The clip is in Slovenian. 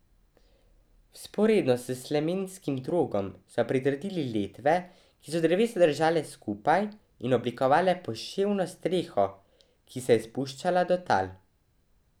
Vzporedno s slemenskim drogom so pritrdili letve, ki so drevesa držale skupaj in oblikovale poševno streho, ki se je spuščala do tal.